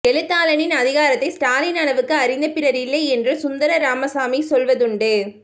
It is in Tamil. எழுத்தாளனின் அதிகாரத்தை ஸ்டாலின் அளவுக்கு அறிந்த பிறர் இல்லை என்று சுந்தர ராமசாமி சொல்வதுண்டு